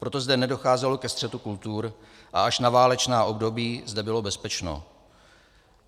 Proto zde nedocházelo ke střetu kultur a až na válečná období zde bylo bezpečno.